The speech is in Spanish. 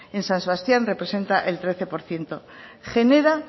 en san sebastián representa el trece por ciento genera